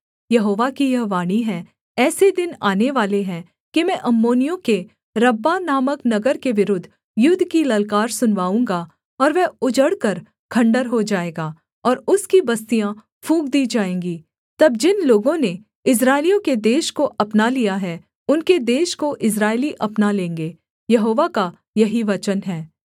यहोवा की यह वाणी है ऐसे दिन आनेवाले हैं कि मैं अम्मोनियों के रब्बाह नामक नगर के विरुद्ध युद्ध की ललकार सुनवाऊँगा और वह उजड़कर खण्डहर हो जाएगा और उसकी बस्तियाँ फूँक दी जाएँगी तब जिन लोगों ने इस्राएलियों के देश को अपना लिया है उनके देश को इस्राएली अपना लेंगे यहोवा का यही वचन है